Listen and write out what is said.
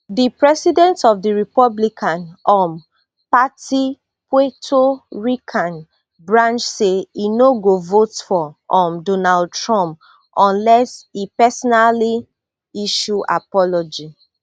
di president of di republican um party puerto rican branch say e no go vote for um donald trump unless e personally issue apology